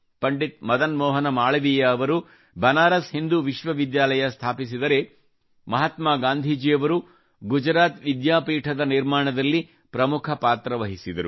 ಪಂಡಿತ್ ಮದನ್ ಮೋಹನ ಮಾಳವೀಯ ಅವರು ಬನಾರಸ್ ಹಿಂದೂ ವಿಶ್ವವಿದ್ಯಾಲಯ ಸ್ಥಾಪಿಸಿದರೆ ಮಹಾತ್ಮಾ ಗಾಂಧಿಯವರು ಗುಜರಾತ್ ವಿದ್ಯಾಪೀಠದ ನಿರ್ಮಾಣದಲ್ಲಿ ಪ್ರಮುಖ ಪಾತ್ರ ವಹಿಸಿದರು